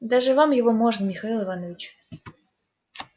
даже вам его можно михаил иванович